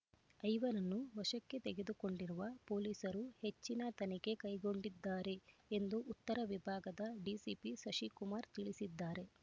ಐವರನ್ನು ವಶಕ್ಕೆ ತೆಗೆದುಕೊಂಡಿರುವ ಪೊಲೀಸರು ಹೆಚ್ಚಿನ ತನಿಖೆ ಕೈಗೊಂಡಿದ್ದಾರೆ ಎಂದು ಉತ್ತರ ವಿಭಾಗದ ಡಿಸಿಪಿ ಶಶಿಕುಮಾರ್ ತಿಳಿಸಿದ್ದಾರೆ